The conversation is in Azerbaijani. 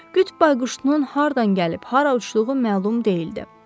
Qütb bayquşunun hardan gəlib hara uçduğu məlum deyildi.